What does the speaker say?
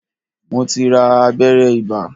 Mo ti ra abẹ́rẹ́ ibà